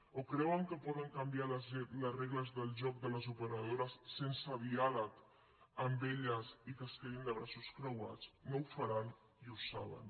o creuen que poden canviar les regles del joc de les operadores sense diàleg amb elles i que es quedin de braços creuats no ho faran i ho saben